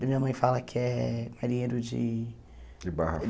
Minha mãe fala que é marinheiro de... De Barra